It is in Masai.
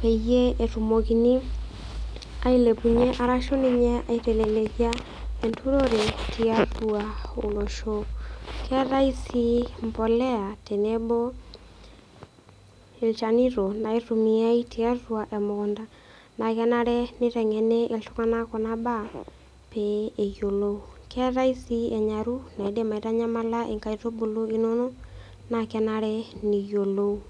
peyie etumokini ailepunye arashu ninye aitalelekia enturore tiatua olosho. Keetai mpolea tenebo ilchanito naitumiai tiatua emukunta nakenare neiteng'eni iltung'anak kuna baa pee eyiolou. Keetai sii enyaru naaidim aitanyamala inkaitubulu inono naakenare niyiolou.